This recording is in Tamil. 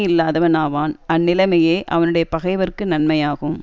இல்லாதவன் ஆவான் அந்நிலைமையே அவனுடைய பகைவர்க்கு நன்மையாகும்